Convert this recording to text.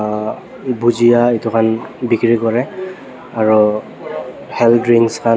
bujiya edu khan bikirikurae aro hel drinks khan.